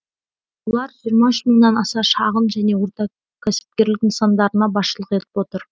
олар жиырма үш мыңнан аса шағын және ортакәсіпкерлік нысандарына басшылық етіп отыр